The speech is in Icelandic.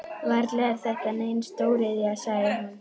Varla er þetta nein stóriðja? sagði hún.